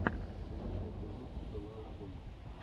лучший эпизод фэл аут бой